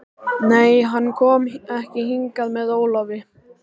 Nei, hann kom ekki hingað með Ólafi.